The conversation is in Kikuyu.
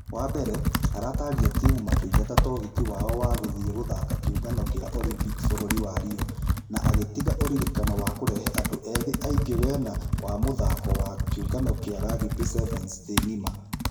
Wa mbere, aratarire timũ makĩgata togiti wao wa gũthie gũthaka kĩũngano gĩa olympic bũrũri wa rio. Na agĩtiga ũririkano wa kũrehe andũ ethĩ aingĩ wena wa mũthako wa kĩũngano gĩa rugby sevens thĩ ngima.